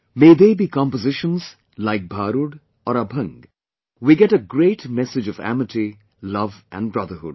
May they be compositions like Bharud HkkM or Abhang vHkax, we get a great message of amity, love and brotherhood